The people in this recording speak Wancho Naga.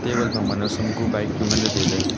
table phangma nowsam ku bike chu ngan taile.